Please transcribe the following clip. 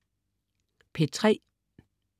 P3: